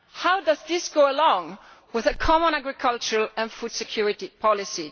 How does this go along with a common agricultural and food security policy?